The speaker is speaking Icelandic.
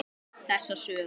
Þessa sögu.